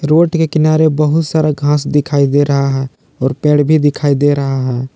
Road के किनारे बहुत सारा घास दिखाई दे रहा है और पेड़ भी दिखाई दे रहे हैं।